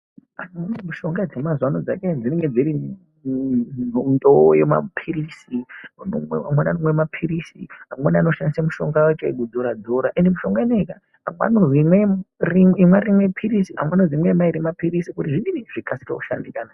Mishonga dzemazuwanaya dzinenge dziri mundowo yemapirisi amweni andomwa mapiritsi amweni anoshandisa mishonga echigubhura dhura ende mishonga inoyi ka amweni anonzi imwa rimweni pirisi amweni anonzi imwa mayiri mapirisi kuti zvikqsike kushandika